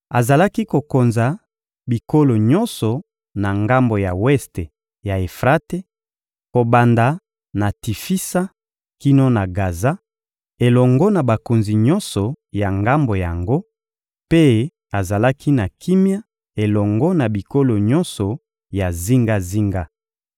Azalaki kokonza bikolo nyonso na ngambo ya weste ya Efrate, kobanda na Tifisa kino na Gaza, elongo na bakonzi nyonso ya ngambo yango; mpe azalaki na kimia elongo na bikolo nyonso ya zingazinga.